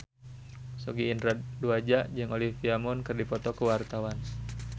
Sogi Indra Duaja jeung Olivia Munn keur dipoto ku wartawan